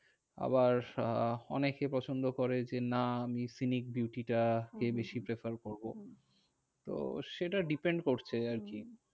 আবার আহ অনেকে পছন্দ করে যে না আমি scenic beauty টাকে হম বেশি prefer করবো। তো সেটা depend করছে আরকি। হম